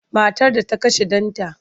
Matar da ta kashe ɗanta.